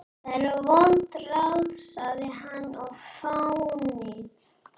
Það eru vond ráð, sagði hann,-og fánýt.